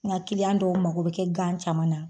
N ka kiliyan dɔw mako bɛ kɛ gan caman na.